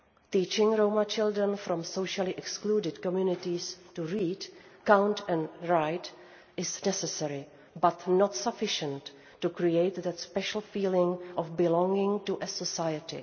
Teaching Roma children from socially excluded communities to read, count and write is necessary, but it is not sufficient to create that special feeling of belonging to a society.